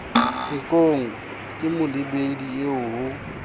nkong ke molebedi eo ho